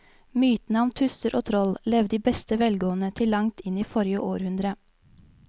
Mytene om tusser og troll levde i beste velgående til langt inn i forrige århundre.